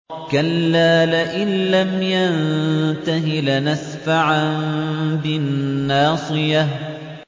كَلَّا لَئِن لَّمْ يَنتَهِ لَنَسْفَعًا بِالنَّاصِيَةِ